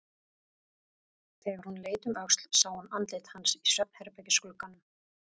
Þegar hún leit um öxl sá hún andlit hans í svefnherbergisglugganum.